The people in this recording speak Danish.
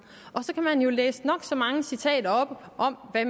og så kan man jo læse nok så mange citater op om hvad